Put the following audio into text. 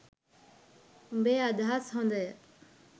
උඹේ අදහස් හොඳය